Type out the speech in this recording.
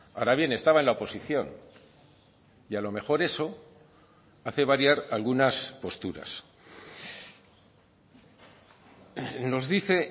ahora bien estaba en la oposición y a lo mejor eso hace variar algunas posturas nos dice